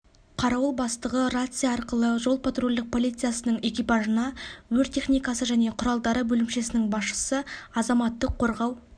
қарауыл бастығы рация арқылы жол-патрульдік полициясының экипажына өрт техникасы және құралдары бөлімшесінің басшысы азаматтық қорғау